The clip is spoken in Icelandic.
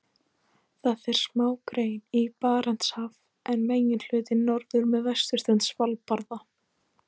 Þar fer smágrein í Barentshaf en meginhlutinn norður með vesturströnd Svalbarða.